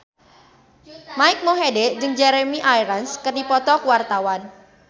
Mike Mohede jeung Jeremy Irons keur dipoto ku wartawan